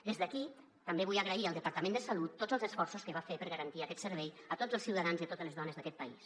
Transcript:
des d’aquí també vull agrair al departament de salut tots els esforços que va fer per garantir aquest servei a tots els ciutadans i a totes les dones d’aquest país